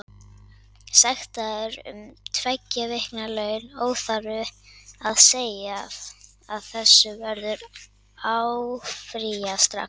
Sektaður um tveggja vikna laun, óþarfi að segja að þessu verður áfrýjað strax.